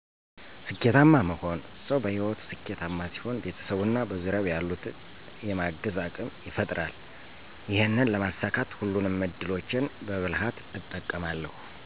ስኬታማ መሆን። ሰው በህይወቱ ስኬታማ ሲሆን ቤተሰቡን እና በዙሪያው ያሉት የማገዝ አቅም ይፈጥራል፤ ይሔንን ለማሳካት ሁሉንም እድሎቼን በብልሀት እጠቀማለሁ።